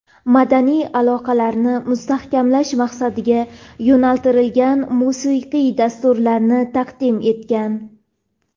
madaniy aloqalarni mustahkamlash maqsadiga yo‘naltirilgan musiqiy dasturlarni taqdim etgan.